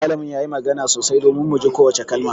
Malamin ya yi magana sosai domin mu ji kowace kalma